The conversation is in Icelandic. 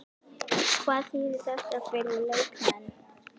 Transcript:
Hvað þýðir þetta fyrir leikmenn?